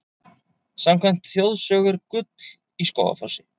Samkvæmt þjóðsögu er gull í Skógafossi.